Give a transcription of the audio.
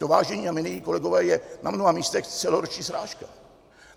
To, vážení a milí kolegové, je na mnoha místech celoroční srážka.